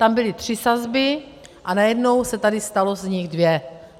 Tam byly tři sazby a najednou se tady staly z nich dvě.